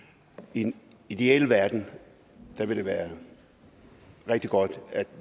i den ideelle verden ville det være rigtig godt at